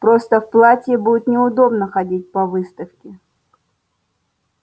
просто в платье будет неудобно ходить по выставке